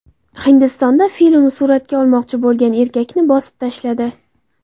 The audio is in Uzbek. Hindistonda fil uni suratga olmoqchi bo‘lgan erkakni bosib tashladi.